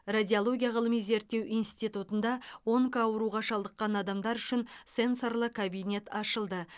радиология ғылыми зерттеу институтында онкоауруға шалдыққан адамдар үшін сенсорлы кабинет ашылды